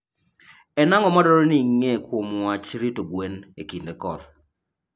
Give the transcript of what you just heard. En ang'o madwarore ni ing'e kuom wach rito gwen e kinde koth?